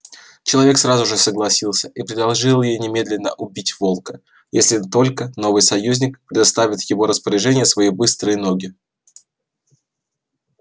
человек сразу же согласился и предложил ей немедленно убить волка если только новый союзник доставит в его распоряжение свои быстрые ноги